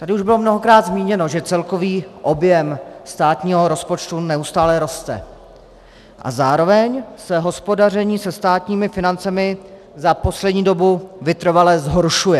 Tady už bylo mnohokrát zmíněno, že celkový objem státního rozpočtu neustále roste a zároveň se hospodaření se státními financemi za poslední dobu vytrvale zhoršuje.